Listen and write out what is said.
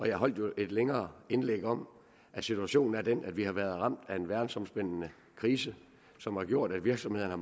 jeg holdt jo et længere indlæg om at situationen er den at vi har været ramt af en verdensomspændende krise som har gjort at virksomhederne